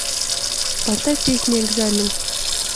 поставь песня экзамен